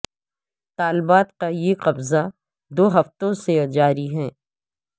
طالبات کا یہ قبضہ دو ہفتوں سے جاری ہے